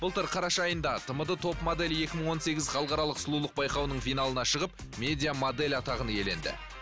былтыр қараша айында тмд топ модель екі мың он сегіз халықаралық сұлулық байқауының финалына шығып медиа модель атағын иеденді